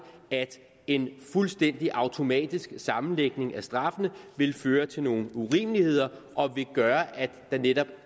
at en fuldstændig automatisk sammenlægning af straffene vil føre til nogle urimeligheder og vil gøre at der netop